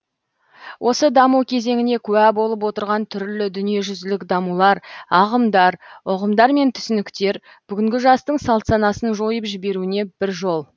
осы даму кезеңіне куә болып отырған түрлі дүниежүзілік дамулар ағымдар ұғымдар мен түсініктер бүгінгі жастың салт санасын жойып жіберуіне бір жол